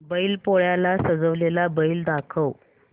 बैल पोळ्याला सजवलेला बैल दाखव